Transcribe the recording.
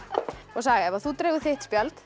saga ef þú dregur þitt spjald